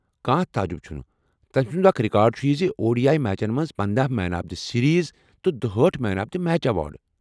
كانہہ تعجِب چُھنہٕ تم سُند اكھ رِكارڈ چُھ یہِ زِ ، او ڈی آیی میچن منٛز پندہَ مین آف دِ سیٖریٖز تہٕ دُہأٹھ man of the match award